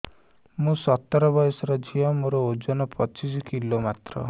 ମୁଁ ସତର ବୟସର ଝିଅ ମୋର ଓଜନ ପଚିଶି କିଲୋ ମାତ୍ର